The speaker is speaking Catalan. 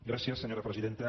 gràcies senyora presidenta